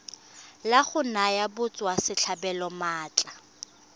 la go naya batswasetlhabelo maatla